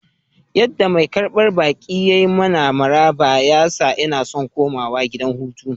Yadda mai karbar baki ya yi mana maraba ya sa inna so komawa gidan hutu.